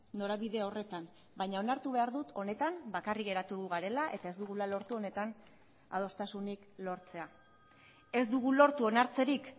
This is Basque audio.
norabide horretan baina onartu behar dut honetan bakarrik geratu garela eta ez dugula lortu honetan adostasunik lortzea ez dugu lortu onartzerik